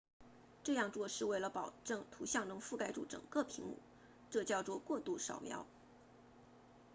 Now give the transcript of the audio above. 这样做是为了保证图像能覆盖住整个屏幕这叫做过度扫描